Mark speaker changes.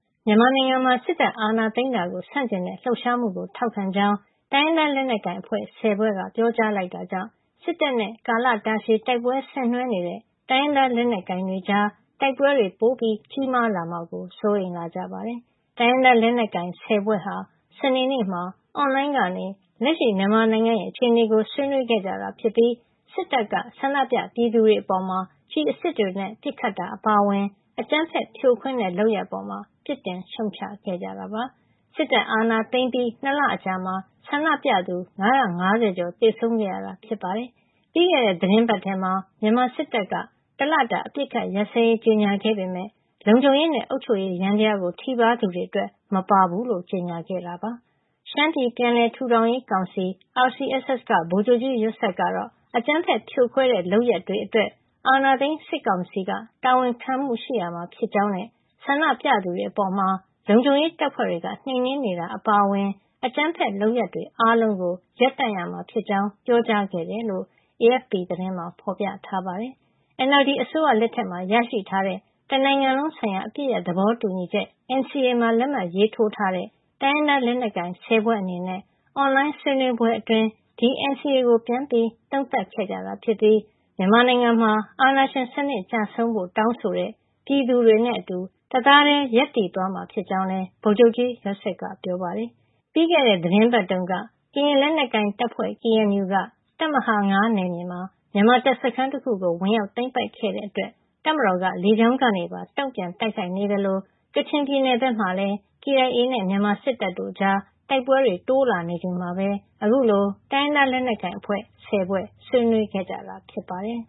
Speaker 1: မြန်မာနိုင်ငံမှာ စစ်တပ်အာဏာသိမ်းတာကိုဆန့်ကျင်တဲ့ လှုပ်ရှားမှုကို ထောက်ခံကြောင်း တိုင်းရင်းသားလက်နက်ကိုင် အဖွဲ့ ၁၀ ဖွဲ့က ပြောကြားလိုက်တာကြောင့် စစ်တပ်နဲ့ ကာလတာရှည် တိုက်ပွဲဆင်နွှဲနေတဲ့တိုင်းရင်းသား လက်နက်ကိုင်တွေကြား တိုက်ပွဲတွေ ပိုကြီးမားလာမှာကို စိုးရိမ်လာကြပါတယ်။ တိုင်းရင်းသားလက်နက်ကိုင် ၁၀ ဖွဲ့ဟာ စနေနေ့မှာ အွန်လိုင်းကနေ လက်ရှိမြန်မာနိုင်ငံရဲ့ အခြေအနေကို ဆွေးနွေးခဲ့ကြတာ ဖြစ်ပြီး စစ်တပ်က ဆန္ဒပြပြည်သူတွေ အပေါ် ကျည်အစစ်တွေနဲ့ ပစ်ခတ်တာ အပါအဝင် အကြမ်းဖက်ဖြိုခွင်းတဲ့ လုပ်ရပ်အပေါ်မှာလည်း ပြစ်တင်ရှုတ်ချခဲ့ကြတာပါ။ စစ်တပ်ကအာဏာသိမ်းပြီး ၂ လအကြာမှာ ဆန္ဒပြသူ ၅၅၀ ကျော် သေဆုံးခဲ့ရတာ ဖြစ်ပါတယ်။ ပြီးခဲ့တဲ့ သီတင်းပတ်ထဲမှာ မြန်မာစစ်တပ်က တလတာ အပစ်အခတ် ရပ်စဲရေး ကြေညာခဲ့ပေမယ့် လုံခြုံရေးနဲ့ အုပ်ချုပ်ရေး ယန္တရားကို ထိပါးသူတွေအတွက် မပါဘူးလို့ ကြေညာခဲ့တာပါ။ ရှမ်းပြည်ပြန်လည်ထူထောင်ရေးကောင်စီ RCSS ကဗိုလ်ချုပ်ကြီး ယွတ်ဆက်ကတော့ အကြမ်းဖက်ဖြိုခွဲတဲ့ လုပ်ရပ်တွေအတွက် အာဏာသိမ်းစစ်ကာင်စီက တာဝန်ခံမှုရှိရမှာ ဖြစ်ကြောင်းနဲ့ ဆန္ဒပြသူတွေအပေါ် လုံခြုံရေးတပ်ဖွဲ့တွေက နှိမ်နင်းနေတာတွေ အပါအဝင် အကြမ်းဖက်လုပ်ရပ်တွေ အားလုံးကို ရပ်တန့်ရမှာဖြစ်ကြောင်း ပြောကြားခဲ့တယ်လို့လည်း AFP သတင်းမှာ ဖေါ်ပြထားပါတယ်။ NLD အစိုးရလက်ထက် ရရှိထားတဲ့ တနိုင်ငံလုံးဆိုင်ရာ အပစ်ရပ်သဘောတူညီချက် NCA မှာ လက်မှတ်ရေးထိုးထားတဲ့ တိုင်းရင်းသား လက်နက်ကိုင် ၁၀ ဖွဲ့ အနေနဲ့ အွန်လိုင်းဆွေးနွေးပွဲအတွင်း ဒီ NCA ကို ပြန်သုံးသပ်ခဲ့ကြ တာ ဖြစ်ပြီး မြန်မာနိုင်ငံမှာ အာဏာရှင်စံနစ်ကျဆုံးဖို့ တောင်းဆိုတဲ့ ပြည်သူတွေနဲ့အတူ တသားထည်း ရပ်တည်သွားမှာ ဖြစ်ကြောင်းလည်း ဗိုလ်ချုပ်ကြီး ယွတ်ဆက်က ပြောပါတယ်။ ပြီးခဲ့တဲ့ သီတင်းပတ်တုန်းက ကရင်လက်နက်ကိုင်တပ်ဖွဲ့ KNU က တပ်မဟာ ၅ နယ်မြေမှာ မြန်မာတပ်စခန်းတခုကို ဝင်ရောက် သိမ်းပိုက်ခဲ့တဲ့ အတွက် တပ်ကမတော်က လေကြောင်းကနေပါ တုန့်ပြန် တိုက်ခိုက်နေသလို ကချင်ပြည်နယ်ဘက်မှာလည်း KIA နဲ့ မြန်မာစစ်တပ်တို့ကြား တိုက်ပွဲတွေတိုးလာနေ ချိန်မှာပဲအခုလို တိုင်းရင်းသား လက်နက်ကိုင်အဖွဲ့ ၁၀ ဖွဲ့ ဆွေးနွေးခဲ့ကြတာ ဖြစ်ပါတယ်